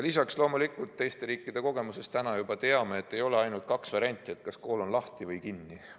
Lisaks me teame teiste riikide kogemustest, et ei ole ainult kaks varianti: kas kool on lahti või kinni.